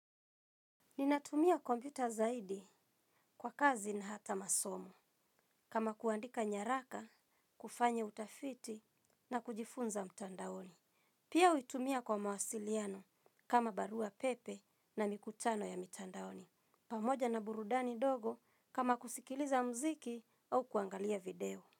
Ninatumia kompyuta zaidi kwa kazi na hata masomo, kama kuandika nyaraka, kufanya utafiti na kujifunza mtandaoni. Pia huitumia kwa mawasiliano kama barua pepe na mikutano ya mtandaoni. Pamoja na burudani dogo kama kusikiliza mziki au kuangalia video.